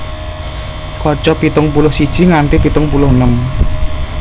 Kaca pitung puluh siji nganti pitung puluh enem